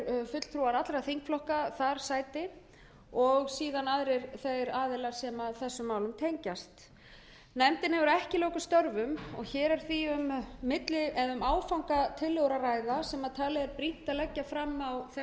fulltrúar allra þingflokka þar sæti og síðan aðrir þeir aðilar sem þessum störfum tengjast nefndin hefur ekki lokið störfum og hér er því um áfangatillögur að ræða sem talið er brýnt að leggja fram á þessu stigi nefndin